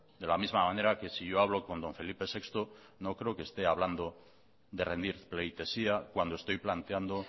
de la misma manera que si yo hablo con don felipe sexto no creo que esté hablando de rendir pleitesía cuando estoy planteando